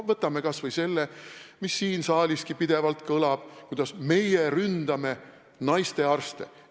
Võtame kas või selle, mis siin saalis pidevalt kõlab: et me ründame naistearste.